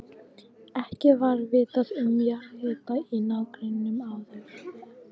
Ekki var vitað um jarðhita í nágrenninu áður.